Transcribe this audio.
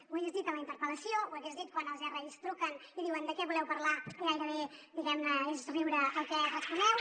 ho hagués dit en la interpel·lació ho hagués dit quan els ris truquen i diuen de què voleu parlar i gairebé diguem ne és riure el que responeu